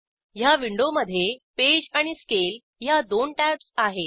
ह्या विंडोमधे पेज आणि स्केल ह्या दोन टॅब्ज आहेत